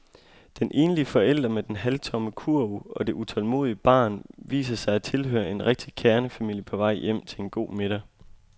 Den enlige forælder med den halvtomme kurv og det utålmodige barn viser sig at tilhøre en rigtig kernefamilie på vej hjem til en god middag.